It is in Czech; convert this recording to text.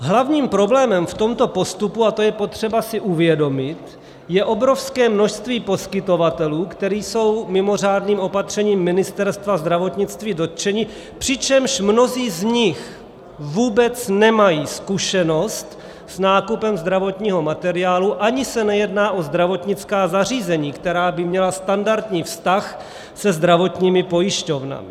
Hlavním problémem v tomto postupu, a to je potřeba si uvědomit, je obrovské množství poskytovatelů, kteří jsou mimořádným opatřením Ministerstva zdravotnictví dotčeni, přičemž mnozí z nich vůbec nemají zkušenost s nákupem zdravotního materiálu ani se nejedná o zdravotnická zařízení, která by měla standardní vztah se zdravotními pojišťovnami.